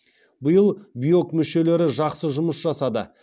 биыл биок мүшелері жақсы жұмыс жасады